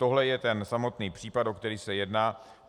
Tohle je ten samotný případ, o který se jedná.